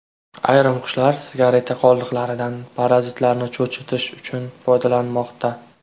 Ayrim qushlar sigareta qoldiqlaridan parazitlarni cho‘chitish uchun foydalanmoqda.